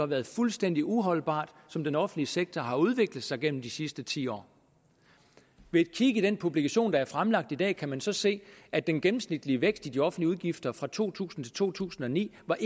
været fuldstændig uholdbart som den offentlige sektor har udviklet sig gennem de sidste ti år ved et kig i den publikation der er fremlagt i dag kan man så se at den gennemsnitlige vækst i de offentlige udgifter fra to tusind til to tusind og ni var